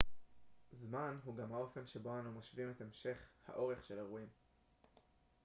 זמן הוא גם האופן שבו אנו משווים את המשך האורך של אירועים